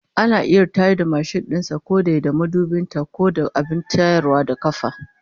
Ana iya tayar da mashin din sa ko dai da mabudin ta, ko da abin tayarwa na kafa